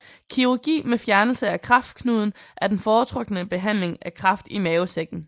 Kirurgi med fjernelse af kræfknuden er den foretrukne behandling af kræft i mavesækken